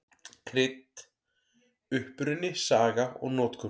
Krydd: Uppruni, saga og notkun.